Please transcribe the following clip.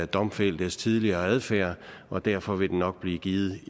domfældtes tidligere adfærd og derfor vil den nok blive givet